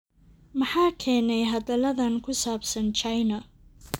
Maxaa keenay hadalladan ku saabsan China?